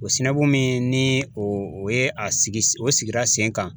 O min ni o ye a sigi o sigira sen kan